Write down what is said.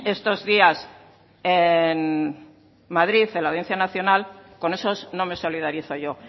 estos días en madrid en la audiencia nacional con esos no me solidarizo yo